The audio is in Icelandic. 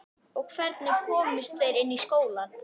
Og hvernig komust þeir inn í skólann?